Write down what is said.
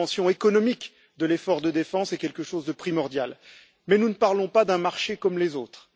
La dimension économique de l'effort de défense est quelque chose de primordial, mais nous ne parlons pas d'un marché comme les autres.